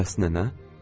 Bəs nənə?